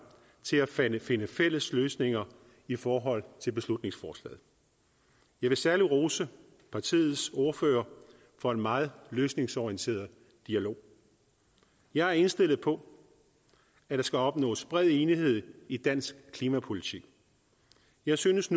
til at finde finde fælles løsninger i forhold til beslutningsforslaget jeg vil særlig rose partiets ordfører for en meget løsningsorienteret dialog jeg er indstillet på at der skal opnås bred enighed i dansk klimapolitik jeg synes